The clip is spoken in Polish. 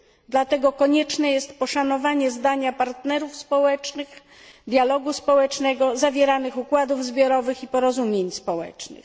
Dlatego konieczne jest poszanowanie zdania partnerów społecznych, dialogu społecznego, zawieranych układów zbiorowych i porozumień społecznych.